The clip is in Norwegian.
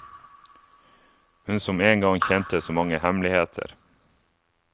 Hun som en gang kjente så mange hemmeligheter.